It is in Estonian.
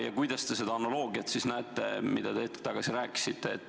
Ja kuidas te ikkagi näete seda analoogiat, millest te hetk tagasi rääkisite?